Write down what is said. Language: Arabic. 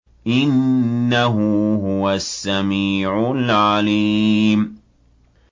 إِنَّهُ هُوَ السَّمِيعُ الْعَلِيمُ